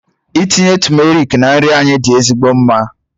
Ịtinye tumeric na nri anyị dị ezigbo mma.